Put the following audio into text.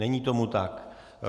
Není tomu tak.